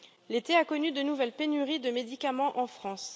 L'été a connu de nouvelles pénuries de médicaments en France.